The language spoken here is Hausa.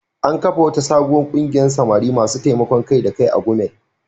An kafa wata sabuwar kungiyar samari masu taimakon kai-da-kai a Gumel.